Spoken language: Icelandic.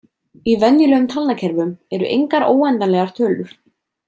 Í venjulegum talnakerfum eru engar óendanlegar tölur.